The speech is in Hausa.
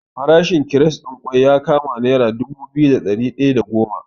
Farashin kires ɗin kwai ya kama nera dubu biyu da ɗari ɗaya da goma.